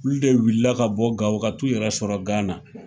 Olu de wliila ka bɔ Gawo ka t'u yɛrɛ sɔrɔ Gana